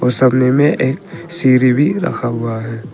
और समने में एक सीढ़ी भी रखा हुआ है।